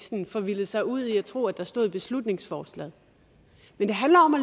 forvildet sig ud i at tro at der stod i beslutningsforslaget men det handler om at